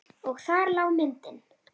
Og þar lá myndin.